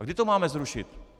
A kdy to máme zrušit?